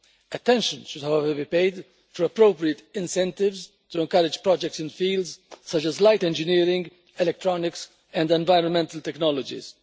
Attention should, however, be paid to appropriate incentives to encourage projects in fields such as light engineering, electronics and environmental technologies.